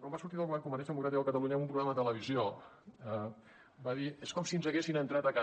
quan va sortir del govern convergència democràtica de catalunya en un programa de televisió va dir és com si ens haguessin entrat a casa